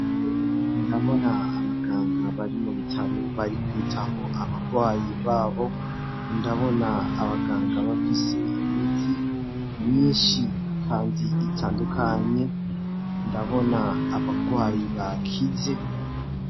Ndabona abaganga bari mu bitaro bari kwitaho abagwayi babo, ndabona abaganga bafise imiti nyinshi kandi itandukanye, ndabona abagwayi bakize.